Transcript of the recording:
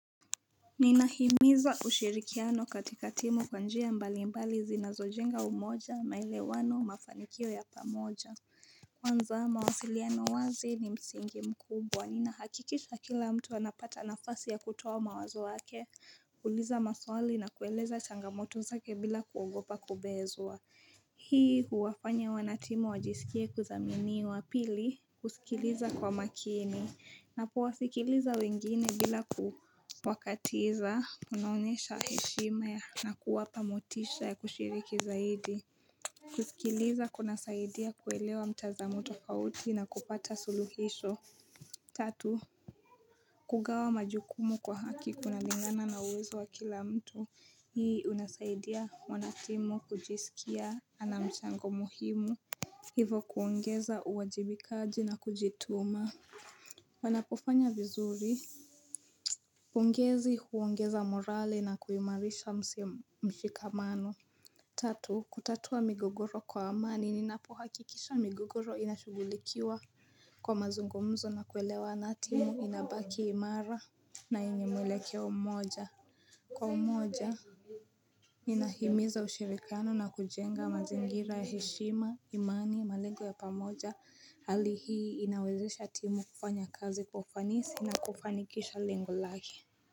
Nina himiza ushirikiano katika timu kwa njia mbali mbali zinazo jenga umoja maele wano mafanikio ya pamoja Kwanza mawasiliano wazi ni msingi mkubwa ni nahakikisha kila mtu anapata nafasi ya kutoa mawazo wake uliza maswali na kueleza changamoto zake bila kuogopa kubezua Hii huwafanya wanatimu wajisikie kuzaminiwa pili kusikiliza kwa makini Napo wasikiliza wengine bila kufakatiza kunaonyesha heshimaya na kuwa pamotisha ya kushiriki zaidi. Kusikiliza kuna saidia kuelewa mtazamo tofauti na kupata suluhisho. Tatu. Kugawa majukumu kwa haki kuna lingana na uwezo wa kila mtu. Hii unasaidia mwanatimu kujisikia anamchango muhimu. Hivo kuongeza uwajibi kaji na kujituma. Wanapofanya vizuri pongezi huongeza morale na kuimarisha mshikamano Tatu kutatua migogoro kwa amani ninapohakikisha migogoro inashugulikiwa Kwa mazungumzo na kuelewa na timu inabaki imara na enye mwelekeo mmoja Kwa umoja ni nahimiza ushirikiano na kujenga mazingira ya heshima imani malengo yapa moja hali hii inawezesha tímu kufanya kazi kwa ufanisi na kufanikisha lengo lake.